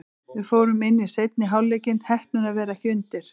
Við fórum inn í seinni hálfleikinn, heppnir að vera ekki undir.